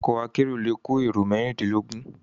Òkò àkèéró lé kó éró mèrindinlógùn